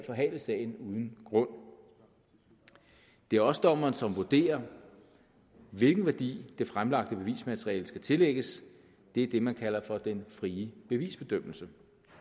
forhale sagen uden grund det er også dommeren som vurderer hvilken værdi det fremlagte bevismateriale skal tillægges det er det man kalder for den frie bevisbedømmelse